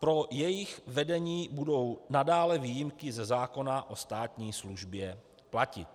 Pro jejich vedení budou nadále výjimky ze zákona o státní službě platit.